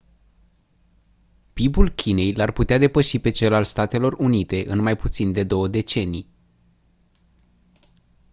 pib-ul chinei l-ar putea depăși pe cel al statelor unite în mai puțin de două decenii